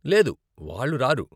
లేదు, వాళ్ళు రారు.